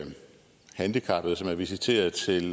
handicappede som er visiteret til